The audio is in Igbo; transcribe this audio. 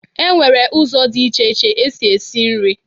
E nwere ụzọ dị iche iche esi esi nrị.